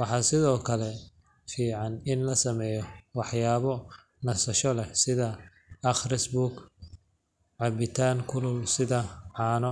Waxaa sidoo kale fiican in la sameeyo waxyaabo nasasho leh sida akhris buug, cabitaan kulul sida caano.